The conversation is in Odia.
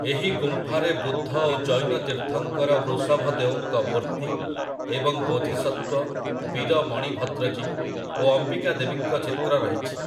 ଏହି ଗୁମ୍ଫାରେ ବୁଦ୍ଧ ଓ ଜୈନ ତୀର୍ଥଙ୍କର ବୃଷଭଦେଓଙ୍କ ମୂର୍ତ୍ତି ଏବଂ ବୋଧିସତ୍ତ୍ୱ, ବୀର ମଣିଭଦ୍ରଜୀ ଓ ଅମ୍ବିକାଦେବୀଙ୍କ ଚିତ୍ର ରହିଛି ।